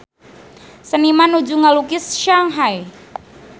Seniman nuju ngalukis Shanghai